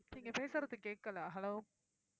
நீங்க பேசுறது கேக்கல hello